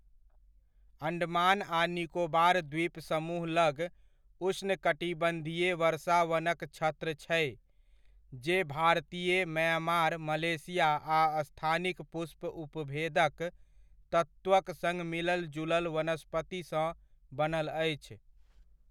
अण्डमान आ निकोबार द्वीप समूह लग उष्णकटिबन्धीय वर्षा वनक छत्र छै जे भारतीय, म्यांमार, मलेशिया आ स्थानिक पुष्प उपभेदक तत्वक सङ्ग मिलल जुलल वनस्पतिसँ बनल अछि।